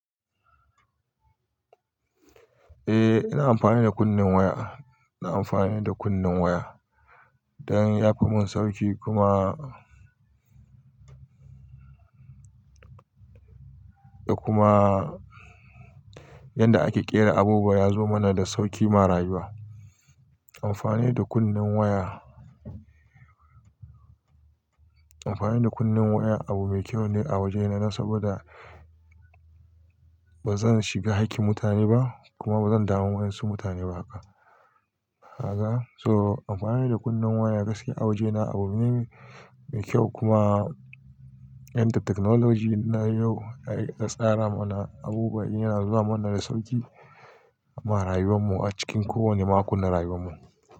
Eh, ina amfani da kunen waya. Ina amfani da kunnin waya don ya fi mun sauƙi kuma, da kuma yanda ake ƙera abubuwa ya zo mana da sauki ma rayuwa. Amfani da kunnin waya, amfani da kunnin waya abu mai kyau ne a wajena saboda ba zan shiga hakkin mutane ba kuma ba zan damu wainsu mutane ba haka, kaga. So amfani da kunnin waya gaskiya a wajena abu ne mai kyau kuma yadda technology na yau ya tsara mana abubuwa yana zuwa mana da sauƙi ma rayuwar mu a cikin kowane makon na rayuwar mu.